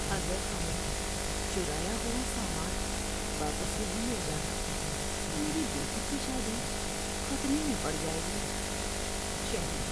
اگر ہمیں چرایا ہوا سامان واپس نہیں مل جاتا تو میری بیٹی کی شادی خطرے میں پڑ جائے گی۔ (شہری)